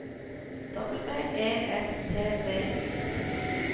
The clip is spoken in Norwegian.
W E S T B Y